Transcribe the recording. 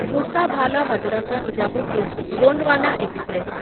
Bhusawal Hazrat Nizamuddin Gondwana express